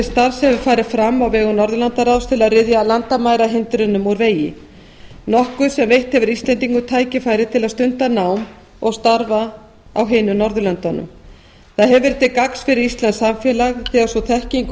starf hefur farið fram á vegum norðurlandaráðs til að ryðja landamærahindrunum úr vegi nokkuð sem veitt hefur íslendingum tækifæri til að stunda nám og starfa á hinum norðurlöndunum það hefur verið til gagns fyrir íslenskt samfélag þegar sú þekking og